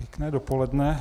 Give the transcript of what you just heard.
Pěkné dopoledne.